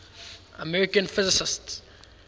american physicists